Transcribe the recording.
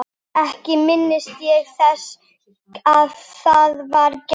Ekki minnist ég þess að það hafi verið gert.